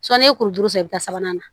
Sɔnni ye kurukuru sen i bɛ sabanan na